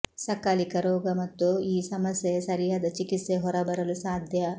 ಸಕಾಲಿಕ ರೋಗ ಮತ್ತು ಈ ಸಮಸ್ಯೆಯ ಸರಿಯಾದ ಚಿಕಿತ್ಸೆ ಹೊರಬರಲು ಸಾಧ್ಯ